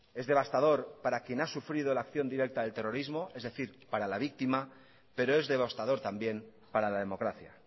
es devastador para quien ha sufrido la acción directa del terrorismo es decir para la víctima pero es devastador también para la democracia